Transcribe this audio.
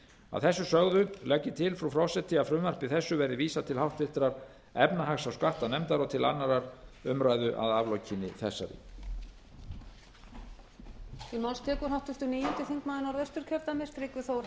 að þessu sögðu legg ég til frú forseti að frumvarpi þessu verði vísað til háttvirtrar efnahags og skattanefndar og til annarrar umræðu að aflokinni þessari